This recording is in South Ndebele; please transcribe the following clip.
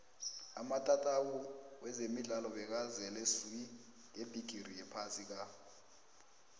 amatatawu wezemidlalo bekazele swi ngebhigiri yephasi ka